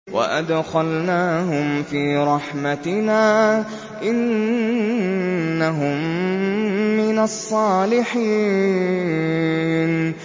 وَأَدْخَلْنَاهُمْ فِي رَحْمَتِنَا ۖ إِنَّهُم مِّنَ الصَّالِحِينَ